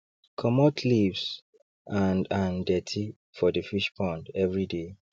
commot leaves and and dirty for the fish pond everyday